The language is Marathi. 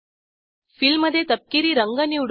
फिल मधे तपकिरी रंग निवडू